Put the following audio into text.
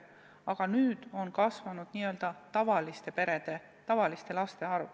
Aga nüüd on kasvanud n-ö tavalistes peredes kasvavate laste arv.